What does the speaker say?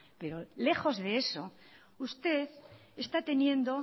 pero lejos de eso usted está teniendo